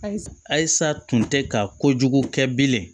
Ayisa tun tɛ ka kojugu kɛ bilen